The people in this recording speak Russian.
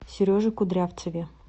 сереже кудрявцеве